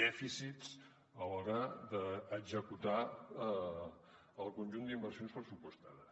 dèficits a l’hora d’executar el conjunt d’inversions pressupostades